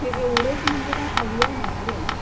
हे ऐवढेच म्हणजे काय अवयव नाहीत रे